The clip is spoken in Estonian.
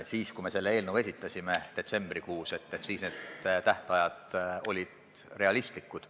Siis, kui me selle eelnõu detsembrikuus esitasime, olid need tähtajad realistlikud.